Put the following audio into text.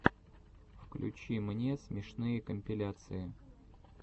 включи мне смешные компиляции